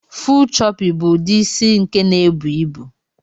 Full choopy bu udi isi nke na ebu ibu.